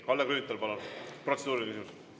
Kalle Grünthal, palun, protseduuriline küsimus!